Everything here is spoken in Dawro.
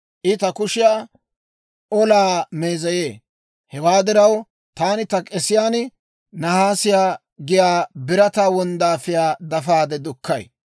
I ta kushiyaa olaa meezeyee; Hewaa diraw, taani ta k'esiyaan naasiyaa giyaa birataa wonddaafiyaa dafaade dukkay.